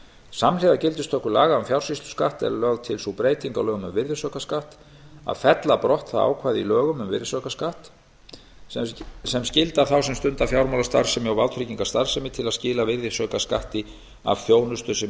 samhliða gildistöku laga um fjársýsluskatt er lögð til sú breyting á lögum um virðisaukaskatt að fella brott það ákvæði í lögum um virðisaukaskatt sem skyldar þá sem stunda fjármálastarfsemi og vátryggingastarfsemi til að skila virðisaukaskatti af þjónustu sem innt